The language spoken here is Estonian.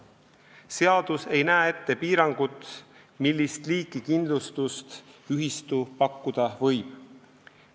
Seadus ei näe ette piirangut, millist liiki kindlustust ühistu pakkuda võib.